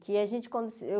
Que a gente cons eu